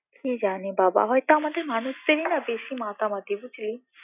কি জানি বাবা হয়তো আমাদের মানুষদেরই না বেশি মাতামাতি বুঝলি